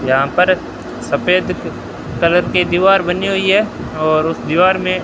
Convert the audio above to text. यहां पर सफेद कलर की दीवार बनी हुई है और उस दीवार में--